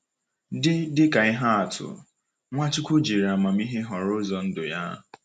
Dị Dị ka ihe atụ, Nwachukwu jiri amamihe họrọ ụzọ ndụ ya.